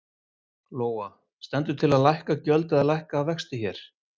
Lóa: Stendur til að lækka gjöld eða lækka vexti hér?